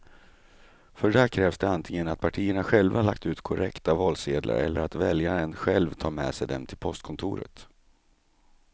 För det krävs antingen att partierna själva lagt ut korrekta valsedlar eller att väljaren själv tar med sig dem till postkontoret.